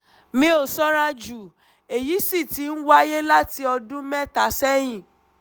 mi ò sanra jù èyí sì ti ń wáyé láti ọdún mẹ́ta sẹ́yìn